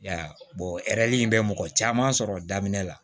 I y'a ye in bɛ mɔgɔ caman sɔrɔ daminɛ la